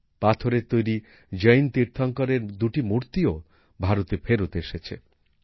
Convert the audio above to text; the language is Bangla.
পাথরের তৈরি জৈন তীর্থঙ্কর এর দুটি মূর্তিও ভারতে ফেরত এসেছে